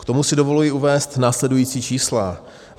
K tomu si dovoluji uvést následující čísla.